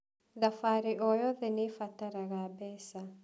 Thabarĩ oyothe nĩbataraga mbeca.